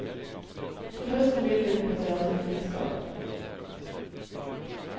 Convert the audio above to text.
Til høsten begynner hun på teatervitenskap.